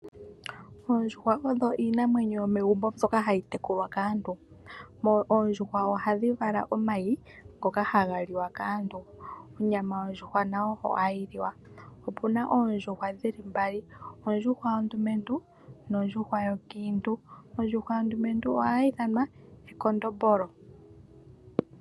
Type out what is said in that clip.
Oondjuhwa odho iinamwenyo yomegumbo mbyoka hayi tekulwa kaantu. Oondjuhwa ohadhi vala omayi, ngoka haga liwa kaantu. Onyama yondjuhwa nayo ohayi liwa. Opuna ondjuhwa mbali, ekondombolo nonkadhindjuhwa.